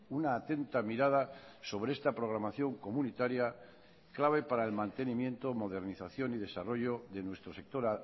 una atenta mirada sobre esta programación comunitaria clave para el mantenimiento modernización y desarrollo de nuestro sector